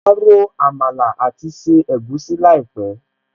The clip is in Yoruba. Máa ro Àmàlà àti se egusi láìpẹ̀